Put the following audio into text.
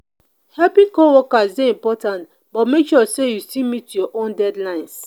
helping co-workers dey important but make sure say you still meet your own deadlines.